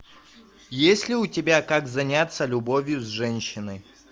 есть ли у тебя как заняться любовью с женщиной